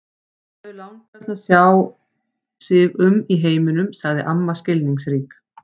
Þau langar til að sjá sig um í heiminum sagði amma skilningsrík.